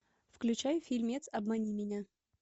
включай фильмец обмани меня